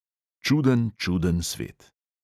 "Čuden, čuden svet!"